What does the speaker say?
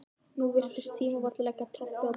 Nú virtist tímabært að leggja trompið á borðið.